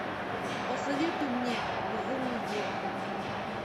посоветуй мне безумный джо